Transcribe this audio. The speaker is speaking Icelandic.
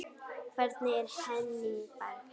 Hvernig er Henning Berg?